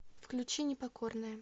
включи непокорная